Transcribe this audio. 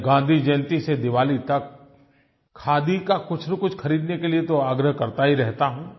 मैं गाँधी जयंती से दीवाली तक खादी का कुछनकुछ खरीदने के लिये तो आग्रह करता ही रहता हूँ